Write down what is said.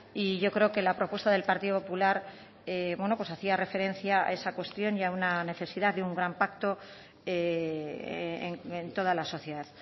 y yo creo que la propuesta del partido popular bueno pues hacía referencia a esa cuestión y a una necesidad de un gran pacto en toda la sociedad